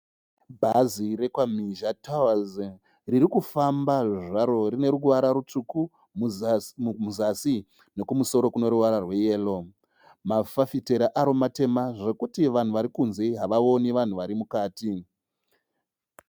Bhazi rekwa Mhizha Tours riri kufamba zvaro rine ruvara ritsvuku muzasi nekumusoro kune ruvara rweyero, mafafitera aro matema zvokuti vanhu vari kunze havaoni vanhu vari mukati.